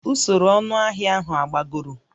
Usoro ọnụahịa ahụ agbagoro?